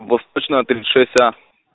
восточная тридцать шесть а